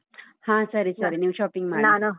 ಹ ಸರಿ ಸರಿ, ನೀವ್ shopping ಮಾಡಿ.